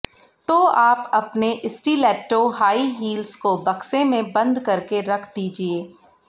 तो आप अपने स्टिलेट्टो हाई हील्स को बक्से में बंद करके रख दीजिए